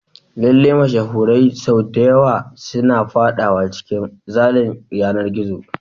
Lallai, mashahurai sau da yawa suna fadawa cikin cin zalin yanar gizo.